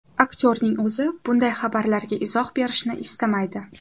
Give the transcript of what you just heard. Aktyorning o‘zi bunday xabarlarga izoh berishni istamaydi.